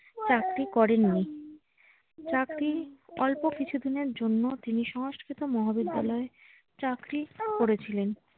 চাকরি করেননি। চাকরি অল্প কিছুদিনের জন্য তিনি সংস্কৃত মহাবিদ্যালয়ে চাকরি করেছিলেন।